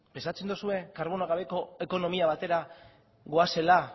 pentsatzen duzue karbono gabeko ekonomia batera goazela